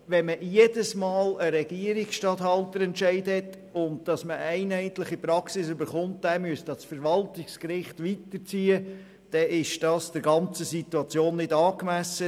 Jedes Mal einen Regierungsstatthalterentscheid zu haben, den man an das Verwaltungsgericht weiterziehen müsste, um eine einheitliche Praxis zu erhalten, wäre der ganzen Situation nicht angemessen.